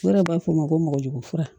O yɛrɛ b'a fɔ ma ko mɔgɔjugu fura